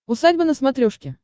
усадьба на смотрешке